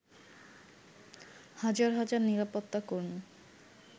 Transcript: হাজার হাজার নিরাপত্তাকর্মী